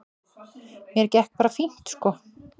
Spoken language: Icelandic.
Mér gekk bara fínt sko.